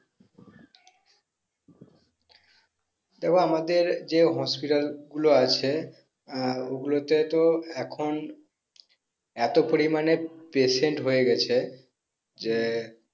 ধরো আমাদের যে hospital গুলো আছে আহ ওগুলোতে তো এখন এত পরিমানে patient হয়ে গেছে যে